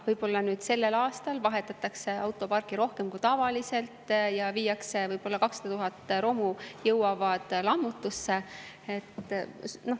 Võib-olla nüüd sellel aastal vahetatakse autoparki rohkem kui tavaliselt ja võib-olla 200 000 romu jõuab lammutusse.